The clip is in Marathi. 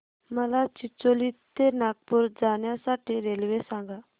मला चिचोली ते नागपूर जाण्या साठी रेल्वे सांगा